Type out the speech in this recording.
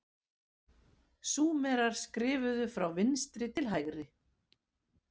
Súmerar skrifuðu frá vinstri til hægri.